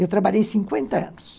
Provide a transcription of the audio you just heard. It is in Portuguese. Eu trabalhei cinquenta anos.